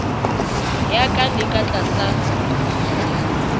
ya ka le ka tlasa